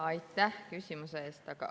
Aitäh küsimuse eest!